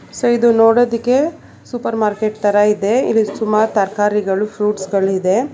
So ಇದು ನೋಡೋದಕ್ಕೆ super market ತರ ಇದೆ ಇಲ್ಲಿ ಸುಮಾರ ತರಕಾರಿಗಳು ಫ್ರುಟ್ಸ್ ಗಳು ಇದೆ.